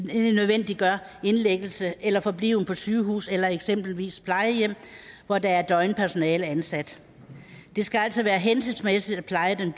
nødvendiggør indlæggelse eller forbliven på sygehus eller eksempelvis plejehjem hvor der er døgnpersonale ansat det skal altså være hensigtsmæssigt at pleje den